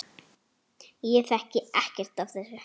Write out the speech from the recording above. Ég þekki ekkert af þessu.